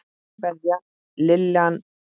Kveðja, Lillan þín.